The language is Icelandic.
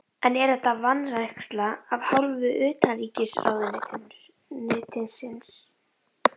En er þetta vanræksla af hálfu utanríkisráðuneytisins?